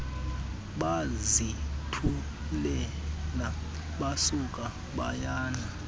bazithulela basuka bayana